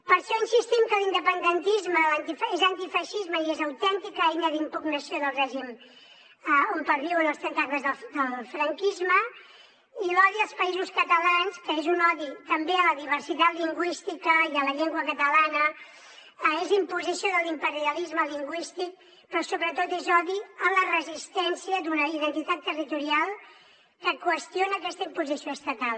per això insistim que l’independentisme és antifeixisme i és autèntica eina d’impugnació del règim on perviuen els tentacles del franquisme i l’odi als països catalans que és un odi també a la diversitat lingüística i a la llengua catalana és imposició de l’imperialisme lingüístic però sobretot és odi a la resistència d’una identitat territorial que qüestiona aquesta imposició estatal